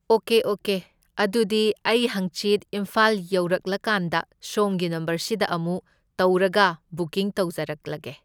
Okay okay, ꯑꯗꯨꯗꯤ ꯑꯩ ꯍꯪꯆꯤꯠ ꯏꯝꯐꯥꯜ ꯌꯧꯔꯛꯂꯀꯥꯟꯗ ꯁꯣꯝꯒꯤ ꯅꯝꯕꯔꯁꯤꯗ ꯑꯃꯨꯛ ꯇꯧꯔꯒ ꯕꯨꯀꯤꯡ ꯇꯧꯖꯔꯛꯂꯒꯦ꯫